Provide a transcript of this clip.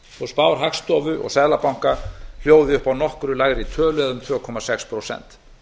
ári spár hagstofu og seðlabanka hljóði upp á nokkru lægri tölu eða um tvö komma sex prósent